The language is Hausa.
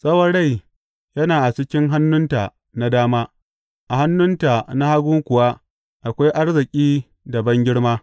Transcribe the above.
Tsawon rai yana a cikin hannunta na dama; a hannunta na hagu kuwa akwai arziki da bangirma.